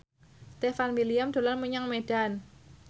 Stefan William dolan menyang Medan